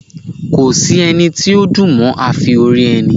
Kò sí ẹni tó dùn mọ́ afi orí ẹni